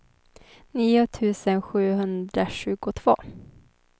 nio tusen sjuhundratjugotvå